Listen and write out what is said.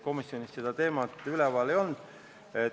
Komisjonis seda teemat üleval ei olnud.